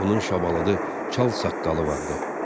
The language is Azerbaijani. Onun şabalıdı çalsaçqalı vardı.